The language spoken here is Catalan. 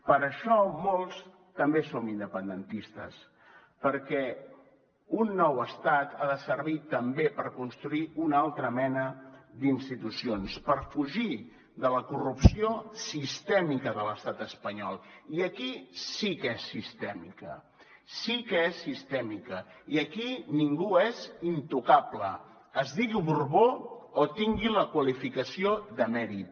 per això molts també som independentistes perquè un nou estat ha de servir també per construir una altra mena d’institucions per fugir de la corrupció sistèmica de l’estat espanyol i aquí sí que és sistèmica sí que és sistèmica i aquí ningú és intocable es digui borbó o tingui la qualificació d’emèrit